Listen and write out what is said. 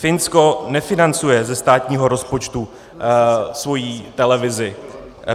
Finsko nefinancuje ze státního rozpočtu svoji televizi.